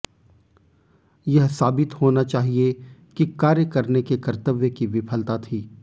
यह साबित होना चाहिए कि कार्य करने के कर्तव्य की विफलता थी